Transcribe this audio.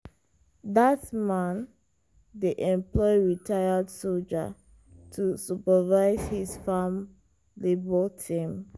dat man dey employ retired soldier to supervise his farm labour team.